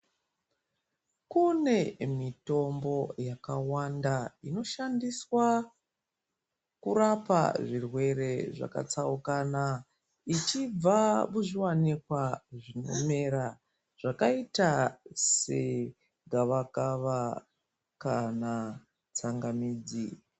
Kune mitombo yakawanda, inoshandiswa, kurapa zvirwere zvakatsaukana, ichibva muzviwanikwa zvinomera, zvakaita segavakava kana tsangamidzi.